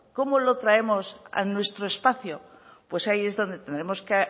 cómo lo traemos a nuestro espacio pues ahí es donde tendremos que